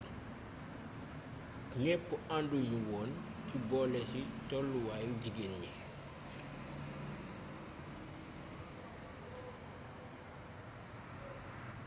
ñepp anduñu woon ci boolési tollu waayu jigeen ñi